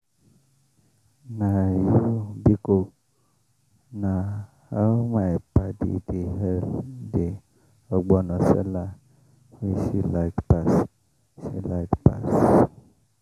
na you biko!” na how my padi dey hail the ogbono seller wey she like pass. she like pass.